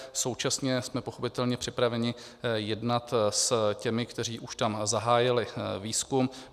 Současně jsme pochopitelně připraveni jednat s těmi, kteří už tam zahájili výzkum.